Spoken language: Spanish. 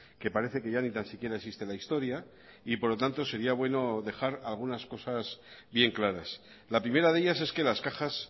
que parece que ya ni tan siquiera existe la historia y por lo tanto sería bueno dejar algunas cosas bien claras la primera de ellas es que las cajas